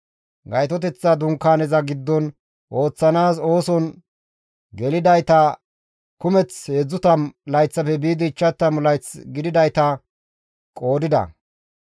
Gaytoteththa Dunkaaneza giddon ooththanaas ooson gelidayta kumeth 30 layththafe biidi 50 layth gididayta qoodida.